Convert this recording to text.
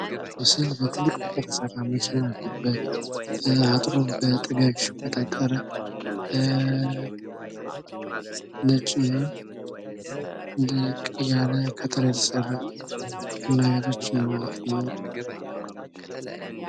ይህ ምስል በትልክቅ የተሰራ መኪና ያለበት ፣ አጥሩም በጥጋግ ሽቦ የታጠረ ፣ ነጭ እና እንደ ቀይ ያለ ከተር የተሰራ ቡና ቤቶች ይኖራሉ ማለት ነው።